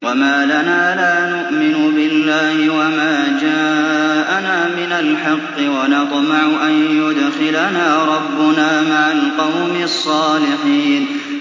وَمَا لَنَا لَا نُؤْمِنُ بِاللَّهِ وَمَا جَاءَنَا مِنَ الْحَقِّ وَنَطْمَعُ أَن يُدْخِلَنَا رَبُّنَا مَعَ الْقَوْمِ الصَّالِحِينَ